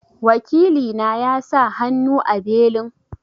Wakili na ya sa hannu a belin?